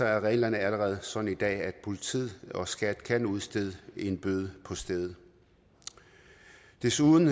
er reglerne allerede sådan i dag at politiet og skat kan udstede en bøde på stedet desuden